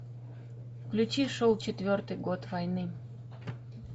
включи шел четвертый год войны